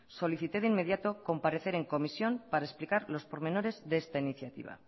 solicité de inmediato comparecer en comisión para explicar los pormenores de esta iniciativa